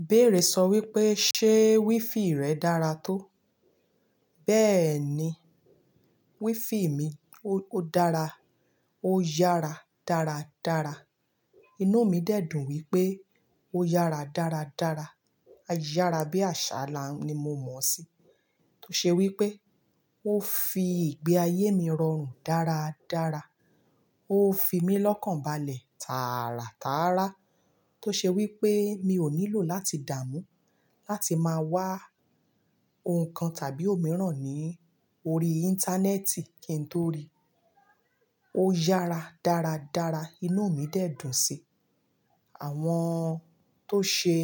Ìbéèrè sọ wípé, "ṣé wiFi rẹ dára tó?" bẹ́ẹ̀ni, wifi mi ó ódára, óyára dára dára. Inú mi dẹ̀ dùn wípé ó yára dára dára. Ayára bí àsá là n ni mo mọ̀ sí. Tó ṣe wípé ó fi ìgbé ayé mi rọrùn dára dára. Ó fi mí lọ́kànbalẹ̀ tààrà tààrà. Tó ṣe wípé mi ò ní lọ láti dàmú, láti má wá oun kan tàbí òmíràn ní orí íńtánẹ́ẹ̀tì kí n tó rí. Ó yára dára dára. Inú mi dẹ̀ dùn sí i. Àwọn tó ṣe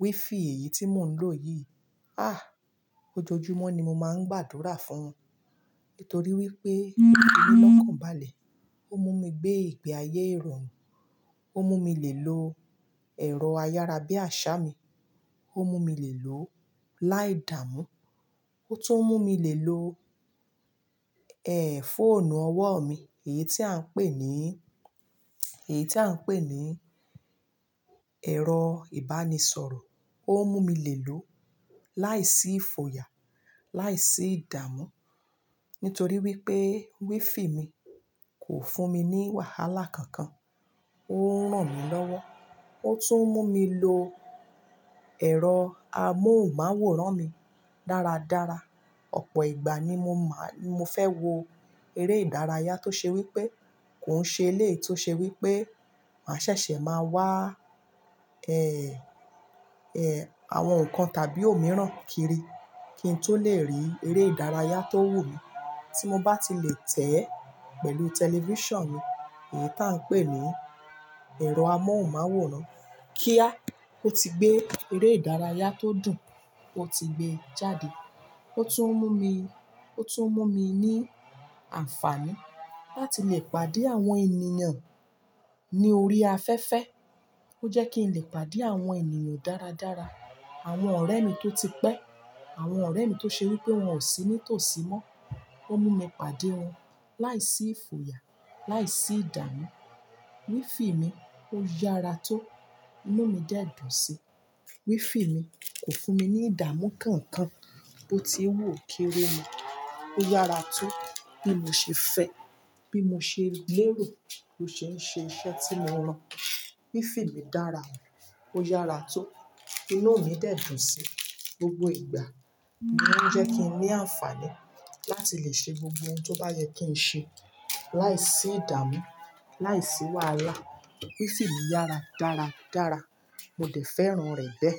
wiFi èyí tí mò ń lò yìí, ah! Ojojúmọ́ ni mo máa ń gbàdúrà fún wọn. Nítorí wípé ó fi mí lọ́kànbalẹ̀, ó mú gbé ìgbé ayé irọrùn, ó mú mi lè lo ẹ̀rọ ayára bí àsá mi, ó mú mi lè lò láì dààmú, ó tún mú mi lè lo, ẹ́, fóònù ọwọ́ mi, èyí tí à ń pè ní, èyí tí à ń pè ní ẹ̀rọ ìbánisọ̀rọ̀. Ó mú mi lè lò láìsí fòyà, láìsí ìdààmú. Nítorí wípé wiFi mi kò fún mi ní wàhálà kankan. Ó ń ràn mí lọ́wọ́. Ó tún mú mi lo ẹ̀rọ amóhùnmáwòrán mi dára dára. Ọ̀pọ̀ ìgbà ni mo máa-- ni mo fẹ́ wo eré ìdárayá tó ṣe wípé kò ń ṣe eleyi, tó ṣe wípé mà ṣẹ̀ṣẹ̀ máa wá, ẹ́, ẹ́, àwọn nǹkan tàbí òmíràn kiri kí n tó lè rí eré ìdárayá tó wù mí tí mo bá ti lè tẹ̀ ẹ́ pẹ̀lú tẹlifíṣàn mi, èyí tí à ń pè ní ẹ̀rọ amóhùnmáwòrán. Kíá! Ó ti gbé eré ìdárayá tó dùn, ó ti gbé e jáde. Ó tún mú mi, ó tún mú mi ní àǹfààní láti lè pàdé àwọn ènìyàn ní orí afẹ́fẹ́. Ó jẹ́ kí n lè pàdé àwọn ènìyàn dára dára. Àwọn ọ̀rẹ́ mi tó ti pẹ́, àwọn ọ̀rẹ́ mi tó ṣe wípé wọn ò sí nítòsí mọ́. Ó mú mi pàdé wọn láìsí fòyà, láìsí ìdààmú. WiFi mi ó yára tó. Inú mi dẹ̀ dùn sí i. WiFi mi kò fún mi ní ìdààmú kankan. Bó ti wu okéré mọ́. Ó yára tó bí mo ṣe fẹ́, bí mo ṣe lérò, bí ó ṣe ń ṣe iṣẹ́ tí mo rán. WiFi mi dára, ó yára tó. Inú mi dẹ̀ dùn sí i gbogbo ìgbà. Ó ń jẹ́ kí n ní àǹfààní láti lè ṣe gbogbo ohun tó bá yẹ kí n ṣe láìsí ìdààmú, láìsí wàhálà. WiFi mi yára dára dára. Mo dẹ̀ fẹ́ràn rẹ̀ bẹ́ẹ̀.